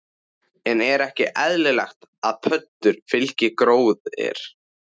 En er ekki eðlilegt að pöddur fylgi gróðri?